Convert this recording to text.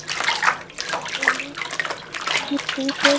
menn, í líkingu við.